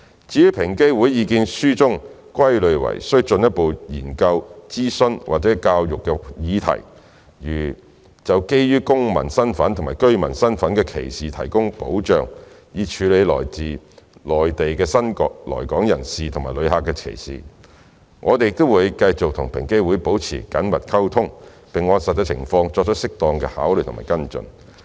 至於在平機會意見書中歸類為需進一步研究、諮詢和教育的議題，例如就基於公民身份及居民身份的歧視提供保障，以處理對來自內地的新來港人士及旅客的歧視，我們會繼續與平機會保持緊密溝通，並按實際情況作出適當的考慮和跟進。